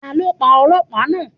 Ta ló pa Ọlọ́pàá náà?